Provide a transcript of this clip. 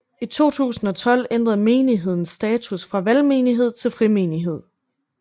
I 2012 ændrede menigheden status fra valgmenighed til frimenighed